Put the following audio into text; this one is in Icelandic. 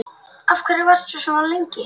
Af hverju varstu svona lengi?